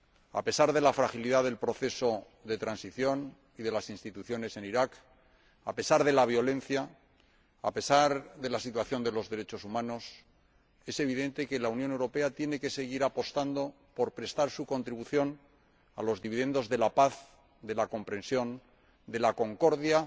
A pesar de la fragilidad del proceso de transición y de las instituciones en Irak, a pesar de la violencia, a pesar de la situación de los derechos humanos, es evidente que la Unión Europea tiene que seguir apostando por prestar su contribución a los dividendos de la paz, de la comprensión, de la concordia,